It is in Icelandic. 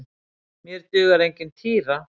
Mér dugar engin týra!